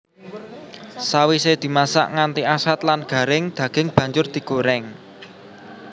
Sawise dimasak nganti asat lan garing daging banjur digorèng